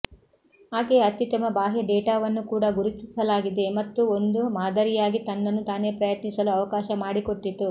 ಆಕೆಯ ಅತ್ಯುತ್ತಮ ಬಾಹ್ಯ ಡೇಟಾವನ್ನು ಕೂಡಾ ಗುರುತಿಸಲಾಗಿದೆ ಮತ್ತು ಒಂದು ಮಾದರಿಯಾಗಿ ತನ್ನನ್ನು ತಾನೇ ಪ್ರಯತ್ನಿಸಲು ಅವಕಾಶ ಮಾಡಿಕೊಟ್ಟಿತು